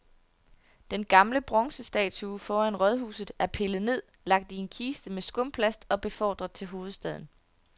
Den gamle bronzestatue foran rådhuset er pillet ned, lagt i en kiste med skumplast og befordret til hovedstaden.